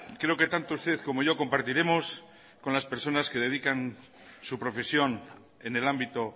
creo que tanto usted como yo compartiremos con las personas que dedican su profesión en el ámbito